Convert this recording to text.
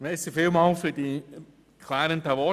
Ich danke für die klärenden Worte.